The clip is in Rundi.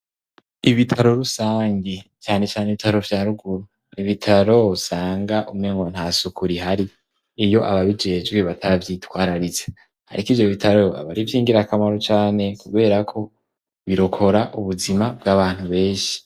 Ibitaro rusangi canecane ibitaro vya ruguru ibitaro usanga umengo ntasuku rihari iyo ababijejwe batavyitwararitse. Ariko ivyobitaro ab'ari ivy'ingirakamaro cane kuberako birokora ubuzima bw'abantu benshi.